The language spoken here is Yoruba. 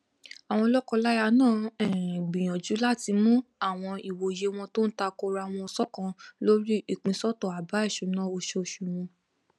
àwọn lọkọláya náà um gbìyànjú láti mú àwọn ìwòye wọn tó takora wọn ṣọkan lórí ìpínsọtọ àbá ìṣúná oṣooṣù wọn